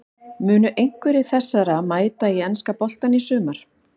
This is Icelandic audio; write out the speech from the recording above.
Munu einhverjir þessara mæta í enska boltann í sumar?